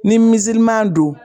Ni don